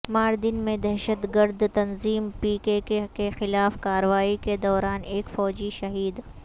ماردن میں دہشت گرد تنظیم پی کے کے کیخلاف کاروائی کے دوران ایک فوجی شہید